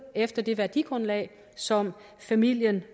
efter det værdigrundlag som familien